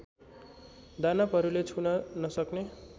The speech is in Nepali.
दानवहरूले छुन नसक्ने